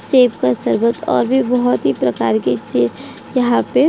Save का शरबत और भी बहुत ही प्रकार के सेव यहाँ पे ।